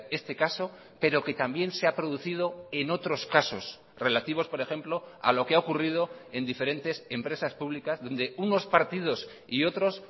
este caso pero que también se ha producido en otros casos relativos por ejemplo a lo que ha ocurrido en diferentes empresas públicas donde unos partidos y otros